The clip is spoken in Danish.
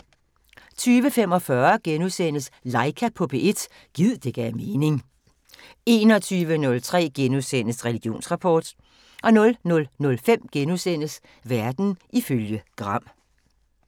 20:45: Laika på P1 – gid det gav mening * 21:03: Religionsrapport * 00:05: Verden ifølge Gram *